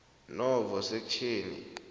novo sekhtjheni